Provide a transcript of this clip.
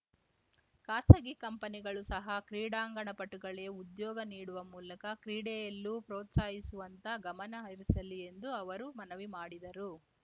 ಖಾಸಗಿ ಕಂಪನಿಗಳೂ ಸಹ ಕ್ರೀಡಾಂಗಣ ಪಟುಗಳೇ ಉದ್ಯೋಗ ನೀಡುವ ಮೂಲಕ ಕ್ರೀಡೆಯಲ್ಲೂ ಪ್ರೋತ್ಸಾಹಿಸುವತ್ತ ಗಮನ ಹರಿಸಲಿ ಎಂದು ಅವರು ಮನವಿ ಮಾಡಿದರು